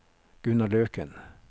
Gunnar Løken